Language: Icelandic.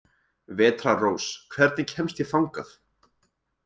Vetrarrós, hvernig kemst ég þangað?